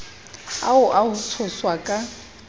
ao a ho tshoswa ka